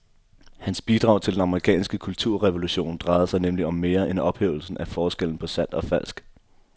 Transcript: Hans bidrag til den amerikanske kulturrevolution drejede sig nemlig om mere end ophævelsen af forskellen på sandt og falsk.